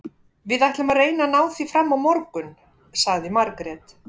Við ætlum að reyna að ná því fram á morgun, sagði Margrét.